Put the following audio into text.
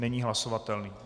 Není hlasovatelný.